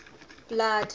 blood